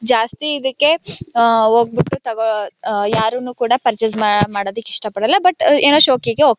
ಜಾಸ್ತಿ ಇದಕ್ಕೆ ಆ ಹೋಗ್ಬಿಟ್ಟು ತಗೋಳೋ ಯಾರೂನೂ ಪರ್ಚೆಸ್ ಮಾಡೋದಿಕ್ಕೆ ಇಷ್ಟ ಪಡಲ್ಲ ಬಟ್ ಏನೋ ಶೋಕಿಗೆ ಹೋಗ್ತಾರೆ.